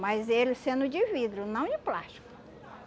Mas ele sendo de vidro, não de plástico.